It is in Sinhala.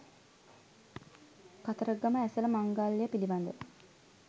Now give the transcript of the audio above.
කතරගම ඇසළ මංගල්‍යය පිළිබඳ